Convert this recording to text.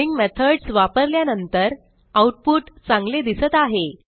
string methods वापरल्यानंतर output चांगले दिसत आहे